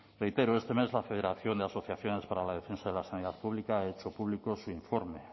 reitero este mes la federación de asociaciones para la defensa de la sanidad pública ha hecho público su informe